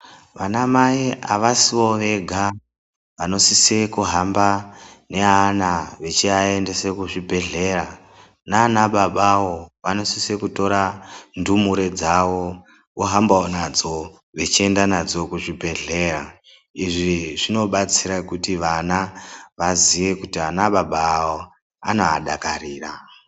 Vana mai avasivo vega vanosise kuhamba neana vachiaendese kuchibhedhlera ,nana babawo vanosise kutora ndumure dzawo ohambawo nadzo vachienda nadzo kuchibhedhleya. Izvi zvinobatsira kuti vana vaziye kuti ana baba awo anovadakarira.